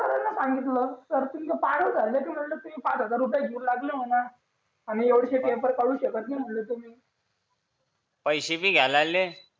कशाला सांगितलं सर तुम्ही पागल झाले की तुम्ही पाच हजार रुपये घेऊ लागले म्हणा आणि येऊशे पेपर काढू शकत नाही तुम्ही पैसे भी घ्यायला लागले